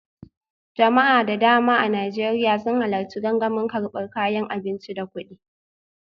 Jama'a da dama a Najeriya sun halarci gangamin karbar kayan abinci da kudi